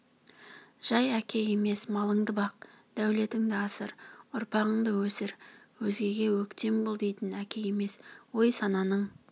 жай әке емес малыңды бақ дәулетіңді асыр ұрпағыңды өсір өзгеге өктем бол дейтін әке емес ой-сананың